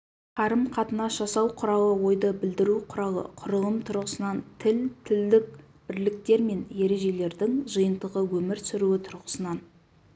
қарым-қатынас жасау құралы ойды білдіру құралы құрылым тұрғысынан тіл тілдік бірліктер мен ережелердің жиынтығы өмір сүруі тұрғысынан